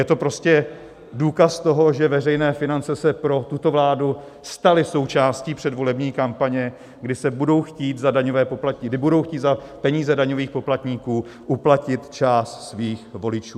Je to prostě důkaz toho, že veřejné finance se pro tuto vládu staly součástí předvolební kampaně, kdy budou chtít za peníze daňových poplatníků uplatit část svých voličů.